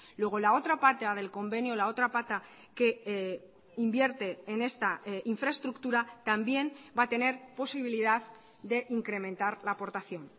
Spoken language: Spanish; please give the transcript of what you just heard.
luego la otra pata del convenio la otra pata que invierte en esta infraestructura también va a tener posibilidad de incrementar la aportación